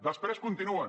després continuen